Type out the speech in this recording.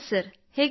ಹೇಗಿದ್ದೀರಿ